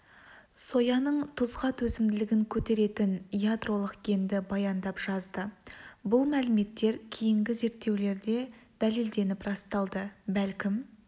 сояның тұзға төзімділігін көтеретін ядролық генді баяндап жазды бұл мәліметтер кейінгі зерттеулерде дәлелденіп расталды бәлкім